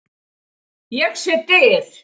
Ég sé dyr.